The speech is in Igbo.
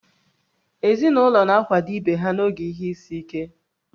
Ezinụlọ na-akwado ibe ha n'oge ihe isi ike